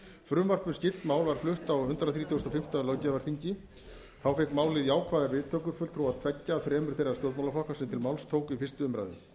frumvarp um skylt mál var flutt á hundrað þrítugasta og fimmta löggjafarþingi þá fékk málið fékk jákvæðar viðtökur fulltrúa tveggja af þremur þeirra stjórnmálaflokka sem til máls tóku í fyrstu umræðu